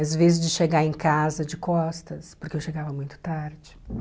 Às vezes de chegar em casa de costas, porque eu chegava muito tarde.